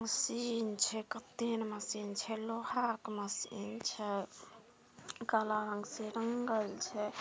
Machine छै machine छै लोहा के मशीन छै काला रंग से रंगल छै।